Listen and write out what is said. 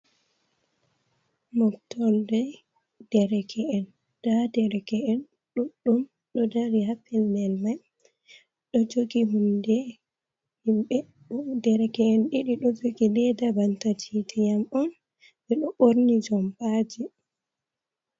Mofordee dereke'en, nda dereke’en ɗuɗɗum ɗo dari ha pellel mai, ɓedoo joogi hunde, himɓe dereke’en ɗiɗi ɗoo joogi deda banta titi en on, ɓe ɗoo ɓorni jompajee.